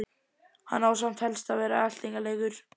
Hann á samt helst að vera eltingaleikur.